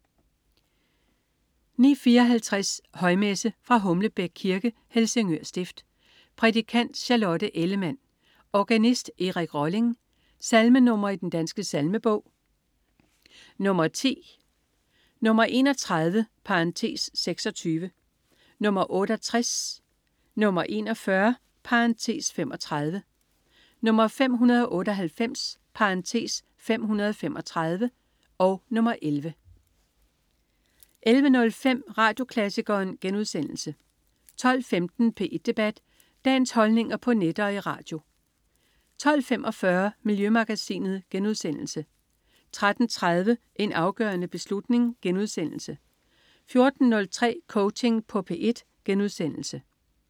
09.54 Højmesse. Fra Humlebæk Kirke, Helsingør Stift. Prædikant: Charlotte Ellemann. Organist: Erik Rolling. Salmenr. i Den Danske Salmebog: 10 (10), 31 (26), 68, 41 (35), 598 (535), 11 (11) 11.05 Radioklassikeren* 12.15 P1 Debat. Dagens holdninger på net og i radio 12.45 Miljømagasinet* 13.30 En afgørende beslutning* 14.03 Coaching på P1*